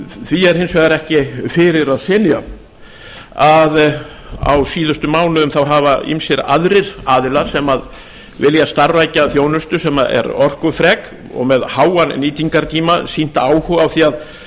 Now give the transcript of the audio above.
því er hins vegar ekki fyrir að synja að á síðustu mánuðum hafa ýmsir aðrir aðilar sem vilja starfrækja þjónustu sem er orkufrek og með háan nýtingartíma sýnt áhuga á því að